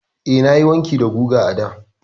Eh, nayi wanki da giga a da.